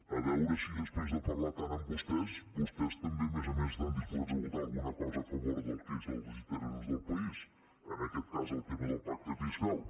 a veure si després de parlar tant amb vostès vostès també a més a més estan disposats a votar alguna cosa a favor del que són els interessos del país en aquest cas el tema del pacte fiscal